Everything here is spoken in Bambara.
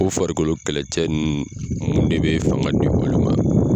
O farikolo kɛlɛkɛcɛ ninnu de bɛ fanga di olu ma.